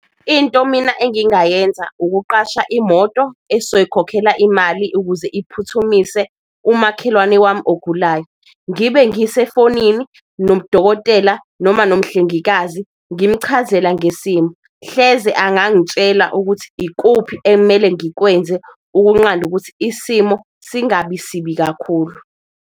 Into mina engingayenza ukuqasha imoto esoyikhokhela imali ukuze iphuthumise umakhelwane wami ogulayo, ngibe ngisefonini nomdokotela noma nomhlengikazi ngimuchazela ngesimo. Hleze angangitshela ukuthi ikuphi okumele ngikwenze ukunqanda ukuthi isimo singabi sibi kakhulu.